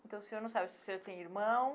Então o senhor não sabe se o senhor tem irmão,